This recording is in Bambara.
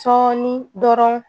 Sɔɔni dɔrɔnw